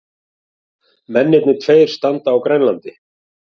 Mennirnir tveir standa á Grænlandi.